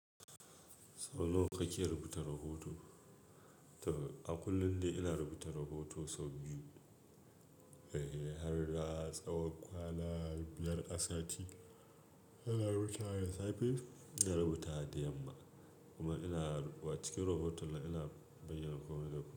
Sau nawa kake rubuta rahoto? A kullum dai ina rubuta rahoto sau biyu, eh har na tsawan kwana biyar har sati. Ina rubutawa da safe, ina rubuta wa da yamma. Kuma ina wa cikin rahoton ina bayyana komai da komai.